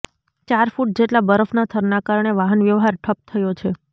ચાર ફૂટ જેટલા બરફના થરના કારણે વાહન વ્યવહાર ઠપ થયો છે